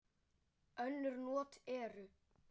Önnur not eru